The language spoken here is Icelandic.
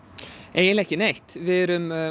eiginlega ekki neitt við erum